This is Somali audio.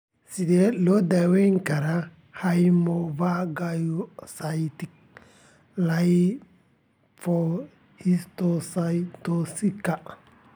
Sidee loo daweyn karaa hemophagocytika lymphohistiocytosiska?